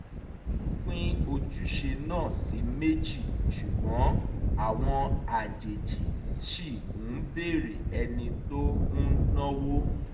wọ́n pín ojúṣe náà sí méjì ṣùgbọ́n àwọn àjèjì ṣì ń béèrè ẹni tó ń náwó